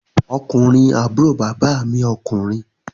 Ọkùnrin àbúrò bàbá mi ọkùnrin